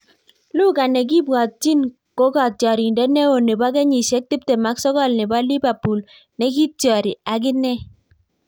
Luka nekibwatyin ko katyarindet neo nebo kenyisiek tiptem ak sokol nebo lipapul nekityari aginee